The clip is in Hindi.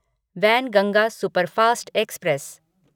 Wainganga superfast express